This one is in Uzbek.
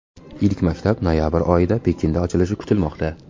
Ilk maktab noyabr oyida Pekinda ochilishi kutilmoqda.